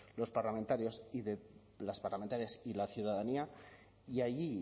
los parlamentarios y de las parlamentarias y la ciudadanía y allí